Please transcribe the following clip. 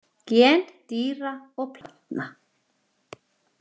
Gen dýra og plantna